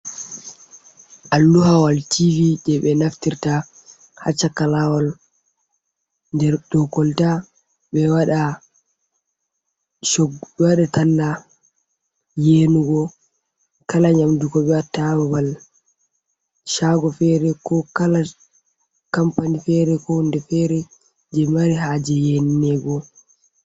Alluhawal tobi je ɓe be naftirta ha chaka lawol der dou kolta ɓedo waɗa, bédo wada talla yenugo kala nyamdugo koɓe watta ha babal shago fere ko kala kampani fere ko hundé de fere je mari haje yeni nego.